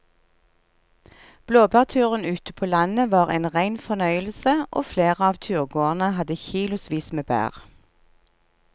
Blåbærturen ute på landet var en rein fornøyelse og flere av turgåerene hadde kilosvis med bær.